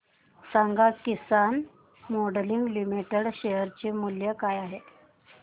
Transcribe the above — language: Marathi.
सांगा किसान मोल्डिंग लिमिटेड चे शेअर मूल्य काय आहे